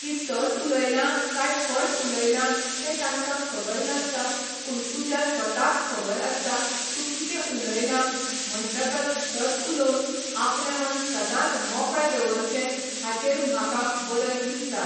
की सत उलयलां काय फट उलयला तें तांकां खबर नासता पूण तुज्या स्वताक खबर आसता तूं कितें उलयलां म्हणटकच सत उलोवन आपलें मन सदांच मोकळें दवरचें हाचेर म्हाक बरयन दिसता.